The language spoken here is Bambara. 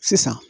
Sisan